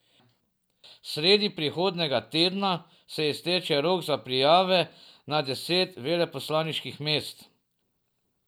Sredi prihodnjega tedna se izteče rok za prijave na deset veleposlaniških mest.